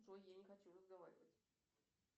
джой я не хочу разговаривать